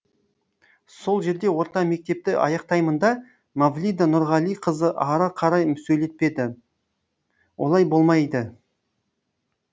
сол жерде орта мектепті аяқтаймын да мавлида нұрғалиқызы ары қарай сөйлетпеді олай болмайды